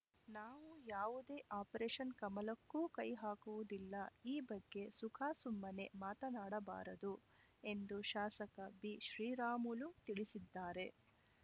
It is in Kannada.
ನಾವು ಯಾವುದೇ ಆಪರೇಷನ್‌ ಕಮಲಕ್ಕೂ ಕೈ ಹಾಕುವುದಿಲ್ಲ ಈ ಬಗ್ಗೆ ಸುಖಾಸುಮ್ಮನೆ ಮಾತನಾಡಬಾರದು ಎಂದು ಶಾಸಕ ಬಿಶ್ರೀರಾಮುಲು ತಿಳಿಸಿದ್ದಾರೆ